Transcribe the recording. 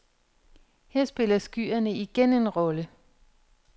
Her spiller skyerne igen en rolle.